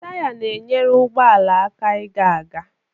Taya na-enyere ụgbọ ala aka ịga aga.